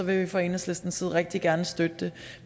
vi fra enhedslistens side rigtig gerne støtte det